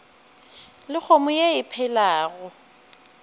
le kgomo ye e phelago